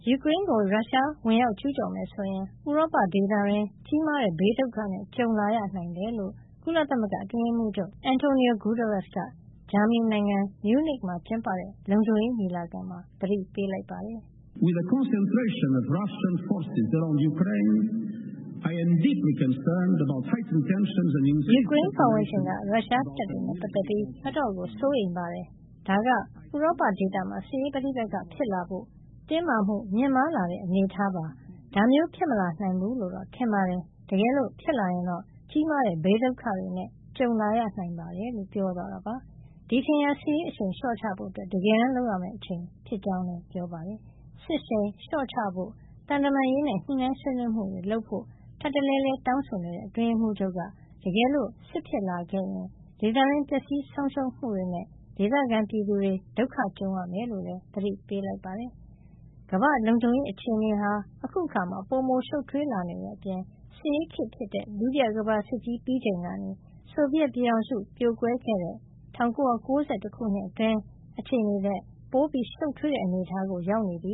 ယူကရိန်းကို ရုရှားဝင်ကျူးကျော်မယ်ဆိုရင် ဥရောပဒေသတွင်း ကြီးမားတဲ့ဘေးဒုက္ခနဲ့ ကြုံလာရနိုင်တယ်လို့ ကုလသမဂ္ဂအတွင်းရေးမှူးချုပ် Antonio Guterres က ဂျာမဏီနိုင်ငံ Munic မှာကျင်းပတဲ့ လုံခြုံရေးညီလာခံမှာ သတိပေးလိုက်ပါတယ်။ "ယူကရိန်း ပတ်ဝန်းကျင်က ရုရှားတပ်တွေနဲ့ ပတ်သက်ပြီး အတော့်ကို စိုးရိမ်ပါတယ်။ ဒါဟာ ဥရောပဒေသမှာ စစ်ရေးပဋိက္ခ ဖြစ်လာဖို့ တင်းမာမှုမြင့်မားလာတဲ့ အနေအထားပါ။ ဒါမျိုးဖြစ်မလာနိုင်ဘူးလို့တော့ထင်ပါတယ်။ တကယ်လို့ ဖြစ်လာရင်တော့ ကြီးမားတဲ့ ဘေးဒုက္ခတွေနဲ့ ကြုံလာရနိုင်ပါတယ်" လို့ပြောသွားတာပါ။ ဒီအချိန်ဟာ စစ်ရေးအရှိန်လျှော့ချဖို့ တကယ်တမ်းလုပ်ရမယ့် အချိန်ဖြစ်ကြောင်းလည်း ပြောပါတယ်။ စစ်ရှိန်လျှော့ချဖို့၊ သံတမန်ရေးနဲ့ ညှိနှိုင်းဆွေးနွေးမှုတွေ လုပ်ဖို့ ထပ်တလဲလဲတောင်းဆိုနေတဲ့ အတွင်းရေးမှုးချုပ်က တကယ်လို့ စစ်ဖြစ်လာရင် ဒေသတွင်း ပျက်စီးဆုံးရှုံးမှုတွေနဲ့ ဒေသခံပြည်သူတွေ ဒုက္ခကြုံရမှာ ဖြစ်ကြောင်းလည်း သတိပေးလိုက်ပါတယ်။ ကမ္ဘာ့လုံခြုံရေးအခြေနေဟာ အခုအခါမှာပိုမိုရှုပ်ထွေးလာနေတဲ့အပြင် စစ်အေးခေတ် ဖြစ်တဲ့ ဒုတိယကမ္ဘာစစ်ပြီးချိန်ကနေ ဆိုဗီယက်ပြည်ထောင်စုပြိုကွဲတဲ့ ၁၉၉၁ ခုနှစ်အတွင်း အခြေနေထက် ပိုရှုပ်ထွေးတဲ့ အနေထားကို ရောက်နေပြ